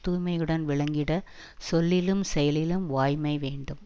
தூய்மையுடன் விளங்கிட சொல்லிலும் செயலிலும் வாய்மை வேண்டும்